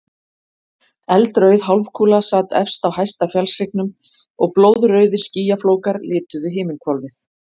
Eldrauð hálfkúla sat efst á hæsta fjallshryggnum og blóðrauðir skýjaflókar lituðu himinhvolfið.